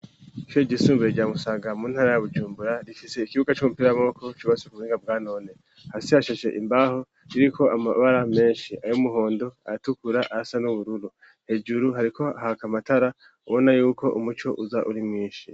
Ico igisumbure ryamusaga mu ntara ya bujumbura rifise ikibuga c'umupira mwoko cubasi kubinga bwanone hasi hasheshe imbaho ririko amabara menshi ayo umuhondo aratukura a sa n'ubururu hejuru hariko hakamatara ubona yuko umuco uza uri mwinshi.